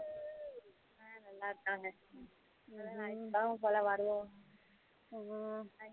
அஹ் நல்லா இருக்காங்க வருவோம்